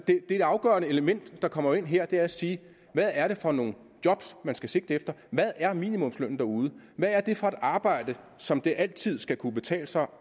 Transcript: afgørende element der kommer ind her er at sige hvad er det for nogle job man skal sigte efter hvad er minimumslønnen derude hvad er det for et arbejde som det altid skal kunne betale sig